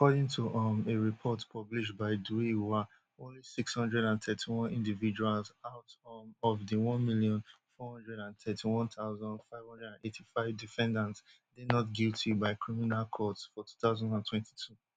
according to um a report published by dui hua only six hundred and thirty-one individuals out um of di one million, four hundred and thirty-one thousand, five hundred and eighty-five defendants dey not guilty by criminal courts for two thousand and twenty-two